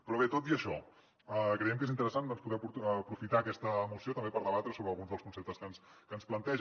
però bé tot i això creiem que és interessant doncs poder aprofitar aquesta moció també per debatre sobre alguns dels conceptes que ens plantegen